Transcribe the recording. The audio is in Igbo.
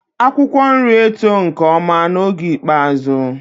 Akwụkwọ nri eto nke ọma n'oge ikpeazụ.